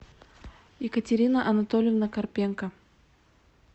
екатерина анатольевна карпенко